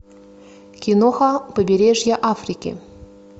киноха побережье африки